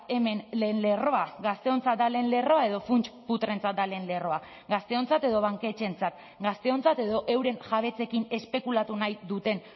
hemen lehen lerroa gazteontzat da lehen lerroa edo funts putreentzat da lehen lerroa gazteontzat edo banketxeentzat gazteontzat edo euren jabetzekin espekulatu nahi duten